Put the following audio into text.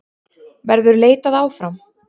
Verður leitað áfram?